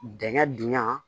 Dingɛn dunya